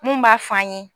Mun b'a f'an ye